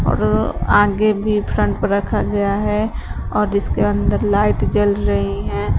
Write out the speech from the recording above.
और आगे भी फ्रंट पर रखा गया है और इसके अंदर लाइट जल रही हैं।